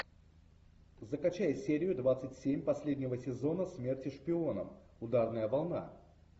закачай серию двадцать семь последнего сезона смерти шпионам ударная волна